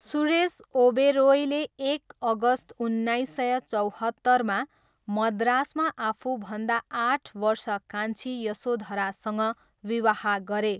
सुरेश ओबेरोयले एक अगस्त उन्नाइस सय चौहत्तरमा मद्रासमा आफूभन्दा आठ वर्ष कान्छी यशोधरासँग विवाह गरे।